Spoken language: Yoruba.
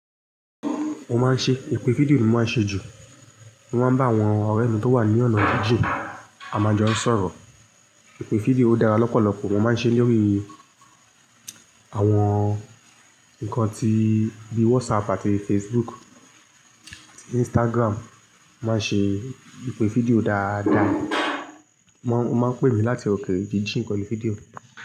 Mo máa ń ṣe ìpè fídíò ni mo máa ń ṣe jù. Mo máa ń bá àwọn ọ̀rẹ́ mi tó wà ní ọ̀nà jíjìn àmajọ sọ̀rọ̀. Ìpè fídíò dára lọ́pọ̀lọpọ̀ mo máa ń ṣe lórí àwọn ǹkan tí bí WhatsApp àti Facebook, àti Instagram máa ń ṣe ìpè fídíò dáadáa. Wọ́n máa ń pè mí láti òkè jíjìn ìpè fídíò.